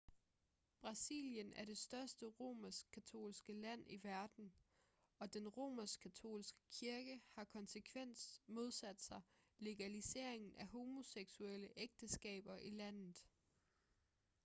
brasilien er det største romersk-katolske land i verden og den romersk-katolske kirke har konsekvent modsat sig legaliseringen af homoseksuelle ægteskaber i landet